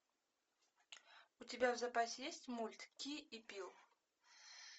у тебя в запасе есть мульт ки и пил